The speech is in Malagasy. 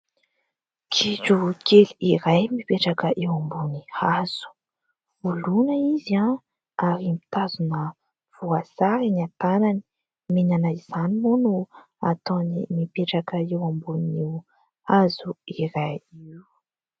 Gidro kely iray mipetraka eo ambony hazo. Oloina izy ary mitazona voasary eny an-tananany. Mihinana izany moa no ataony mipetraka eo amboniny hazo iray io.